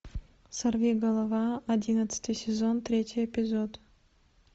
сорвиголова одиннадцатый сезон третий эпизод